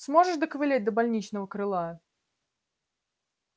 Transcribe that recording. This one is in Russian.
сможешь доковылять до больничного крыла